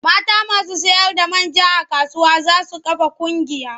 Mata masu sayarda man ja a kasuwa za su kafa ƙungiya.